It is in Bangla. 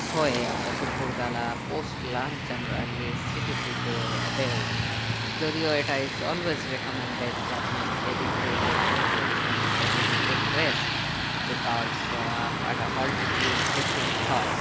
হয়ে আমরা দুপুর বেলা post lunch আমরা যে city trip এ বের হয় যদি ও এটা always recoment দেয় যে আপনি যেদিন কে লে পৌঁছাচ্ছেন সেদিন you take rest because ah একটা altitude deference হয়